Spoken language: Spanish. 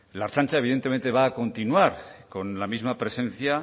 la ertzaintza evidentemente va a continuar con la misma presencia